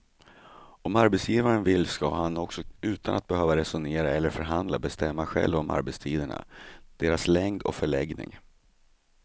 Om arbetsgivaren vill ska han också utan att behöva resonera eller förhandla bestämma själv om arbetstiderna, deras längd och förläggning.